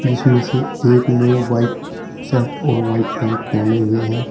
इसमें से एक ने व्हाइट शर्ट और व्हाइट पैंट पहने हुए है।